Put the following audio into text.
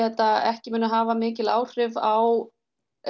þetta ekki muna hafa mikil áhrif á